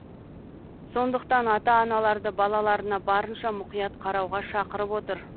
сондықтан ата аналарды балаларына барынша мұқият қарауға шақырып отыр